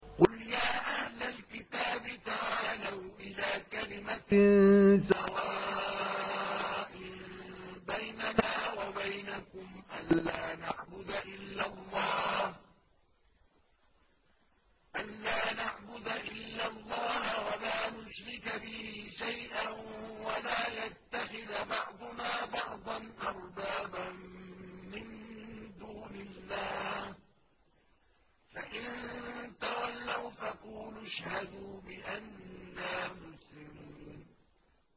قُلْ يَا أَهْلَ الْكِتَابِ تَعَالَوْا إِلَىٰ كَلِمَةٍ سَوَاءٍ بَيْنَنَا وَبَيْنَكُمْ أَلَّا نَعْبُدَ إِلَّا اللَّهَ وَلَا نُشْرِكَ بِهِ شَيْئًا وَلَا يَتَّخِذَ بَعْضُنَا بَعْضًا أَرْبَابًا مِّن دُونِ اللَّهِ ۚ فَإِن تَوَلَّوْا فَقُولُوا اشْهَدُوا بِأَنَّا مُسْلِمُونَ